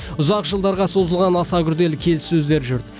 ұзақ жылдарға созылған аса күрделі келіссөздер жүр